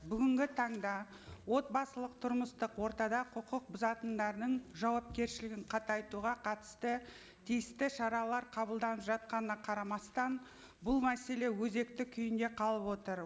бүгінгі таңда отбасылық тұрмыстық ортада құқық бұзатындардың жауапкершілігін қатайтуға қатысты тиісті шаралар қабылданып жатқанына қарамастан бұл мәселе өзекті күйінде қалып отыр